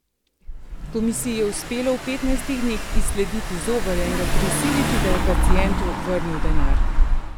Komisiji je uspelo v petnajstih dneh izsledili zobarja in ga prisiliti, da je pacientu vrnil denar.